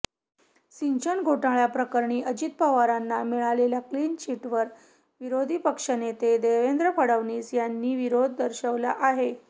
सिंचन घोटाळ्याप्रकरणी अजित पवारांना मिळालेल्या क्लीन चिटवर विरोधी पक्षनेते देवेंद्र फडणवीस यांनी विरोध दर्शवला आहे